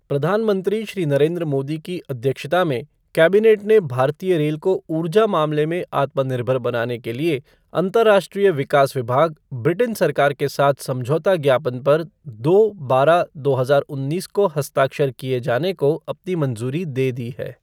प्रधानमंत्री श्री नरेंद्र मोदी की अध्यक्षता में कैबिनेट ने भारतीय रेल को ऊर्जा मामले में आत्म निर्भर बनाने के लिए अंतर्राष्ट्रीय विकास विभाग, ब्रिटेन सरकार के साथ समझौता ज्ञापन पर दो बारह दो हजार उन्नीस को हस्ताक्षर किए जाने को अपनी मंज़ूरी दे दी है।